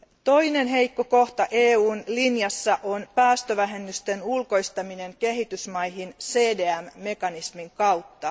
Toinen heikko kohta EUn linjassa on päästövähennysten ulkoistaminen kehitysmaihin CDM mekanismin kautta.